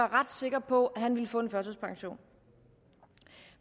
ret sikker på at han ville få en førtidspension